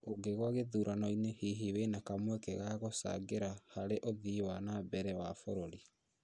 ũngĩgwa gĩthurano-inĩ hihi wĩna kamweke ga gũchangĩra harĩ ũthii wa na mbere wa bũrũri